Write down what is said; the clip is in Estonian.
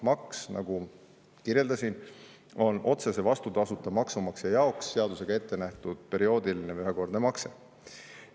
Maks, nagu kirjeldasin, on otsese vastutasuta maksumaksja jaoks seadusega ette nähtud perioodiline või ühekordne makse.